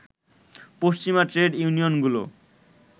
পশ্চিমা ট্রেড ইউনিয়নগুলো